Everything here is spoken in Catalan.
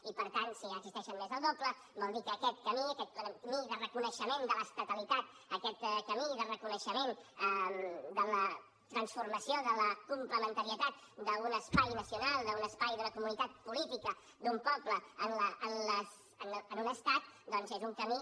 i per tant si n’existeixen més del doble vol dir que aquest camí aquest camí de reconeixement de l’estatalitat aquest camí de reconeixement de la transformació de la complementarietat d’un espai nacional d’un espai d’una comunitat política d’un poble en un estat doncs és un camí